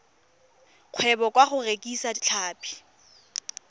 kgwebo ka go rekisa tlhapi